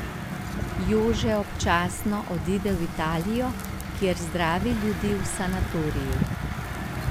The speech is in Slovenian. Jože občasno odide v Italijo, kjer zdravi ljudi v sanatoriju.